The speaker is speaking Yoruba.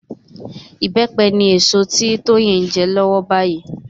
Ìbẹ́pẹ ni èso tí Tóyìn ń jẹ lọ́wọ́lọ́wọ́ báyìí